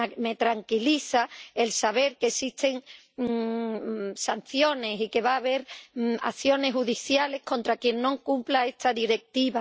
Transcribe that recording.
Me tranquiliza saber que existen sanciones y que va a haber acciones judiciales contra quien no cumpla esta Directiva.